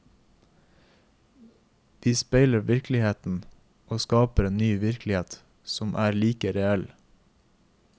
Vi speiler virkeligheten og skaper en ny virkelighet som er like reell.